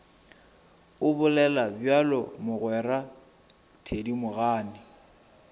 o bolela bjalo mogwera thedimogane